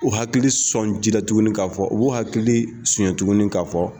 U hakili sɔn ji la a tuguni k'a fɔ u b'u hakili sonya tugun k'a fɔ